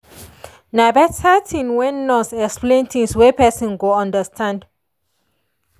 na better thing when nurse explain things wey person go understand.